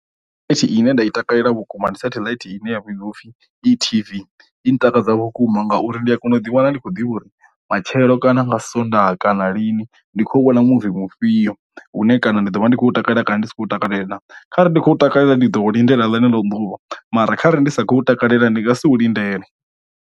Satheḽaithi ine nda i takalela vhukuma ndi sateḽite ine ya vhidziwa upfhi E T_V i takadza vhukuma ngauri ndi a kona u ḓi wana ndi khou ḓivha uri matshelo kana nga sonḓaha kana lini ndi khou wana muvi mufhio une kana ndi ḓo vha ndi khou takalela kana ndi si khou takalela, kharali ndi khou takalela ndi ḓo lindela ḽeneḽo ḓuvha mara khare ndi sa khou takalela ndi nga si u lindele.